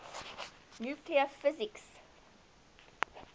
nuclear physics